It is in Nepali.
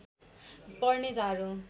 पर्ने झार हो